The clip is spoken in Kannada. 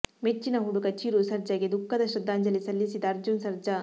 ಮೆಚ್ಚಿನ ಹುಡುಗ ಚಿರು ಸರ್ಜಾ ಗೆ ದುಃಖದ ಶ್ರದ್ಧಾಂಜಲಿ ಸಲ್ಲಿಸಿದ ಅರ್ಜುನ್ ಸರ್ಜಾ